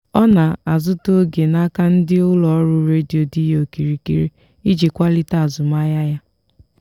ọ na-azụta oge n'aka ndị ụlọ ọrụ redio dị ya okirikiri iji kwalite azụmahịa ya.